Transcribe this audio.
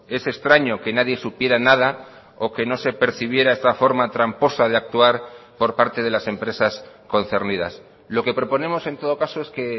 es extraño que nadie supiera nada o que no se percibiera esta forma tramposa de actuar por parte de las empresas concernidas lo que proponemos en todo caso es que